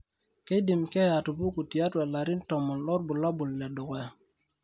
keidim keeya atupuku tiatua ilarin 10 loorbulabol le dukuya.